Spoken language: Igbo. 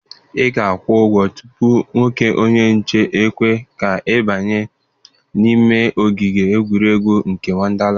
Ị ga-akwụ ụgwọ tupu nwoke onye nche ekwe ka ị banye n'ime ogige egwuregwu nke Wọndalandị.